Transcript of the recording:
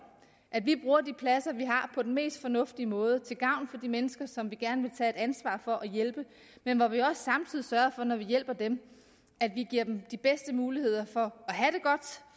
at vi bruger de pladser vi har på den mest fornuftige måde til gavn for de mennesker som vi gerne vil tage et ansvar for at hjælpe men at vi også samtidig sørger for når vi hjælper dem at vi giver dem de bedste muligheder for